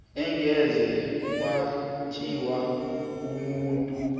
angeze kwathiwa umuntu